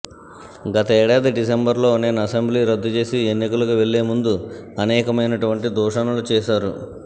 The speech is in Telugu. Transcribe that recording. గతేడాది డిసెంబర్ లో నేను అసెంబ్లీ రద్దు చేసి ఎన్నికలకు వెళ్లే ముందు అనేకమైనటువంటి దూషనలు చేశారు